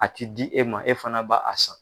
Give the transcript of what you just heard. A ti di e ma e fana ba a san.